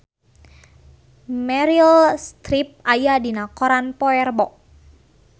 Meryl Streep aya dina koran poe Rebo